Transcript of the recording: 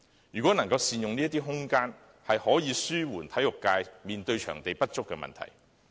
如能善用這些空間，可紓緩體育界所面對場地不足的問題。